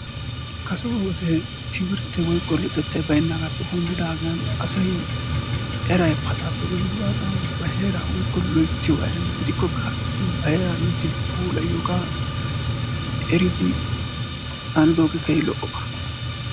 Kase wode timirttee woykko luxettay baynnaagaappe denddidaagan asay eray pacaappe denddidaagan ba heeraa woykko loyttiyogaa erenna. Gidikkokka ha"i gin ba heeraa loyttidi puilayiyogee eridoogee keehippe lo"oba.